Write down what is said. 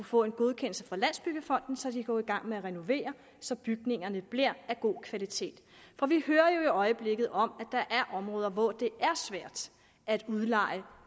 få en godkendelse fra landsbyggefonden så de kan gå i gang med at renovere så bygningerne bliver af god kvalitet for vi hører jo i øjeblikket om der er områder hvor det er svært at udleje